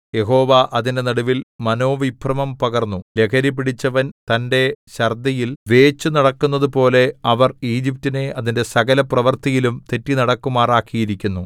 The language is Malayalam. യഹോവ അതിന്റെ നടുവിൽ മനോവിഭ്രമം പകർന്നു ലഹരിപിടിച്ചവൻ തന്റെ ഛർദ്ദിയിൽ വേച്ചുനടക്കുന്നതുപോലെ അവർ ഈജിപ്റ്റിനെ അതിന്റെ സകലപ്രവൃത്തിയിലും തെറ്റിനടക്കുമാറാക്കിയിരിക്കുന്നു